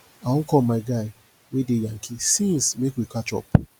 i wan call my guy wey dey yankee since make we catch up